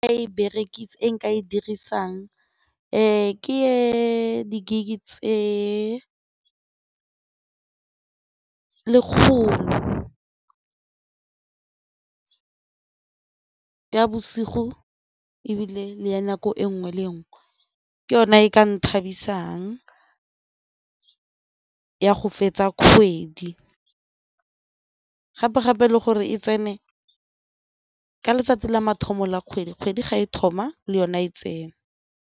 E nka e dirisang ee ke di-gig-e tse lekgolo ka bosigo ebile le ya nako e nngwe le nngwe ke yona e ka nthabisang ya go fetsa kgwedi gape-gape le gore e tsene ka letsatsi la mathomo la kgwedi kgwedi ga e thoma le yona e tsene.